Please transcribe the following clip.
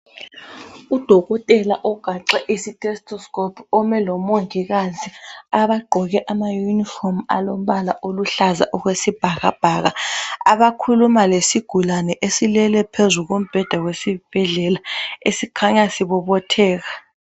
Udokotela ogaxe itestoscope ome lomongikazi abagqoke amayunifomu alombala oluhlaza okwesibhakabhaka abakhuluma lesigulane esilele phezu kombheda wesibhedlela esikhanya sibobotheka.